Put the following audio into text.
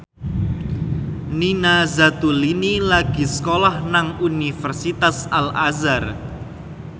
Nina Zatulini lagi sekolah nang Universitas Al Azhar